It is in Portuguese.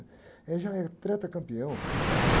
Ele já é tetracampeão, ou tricampeão, sei lá.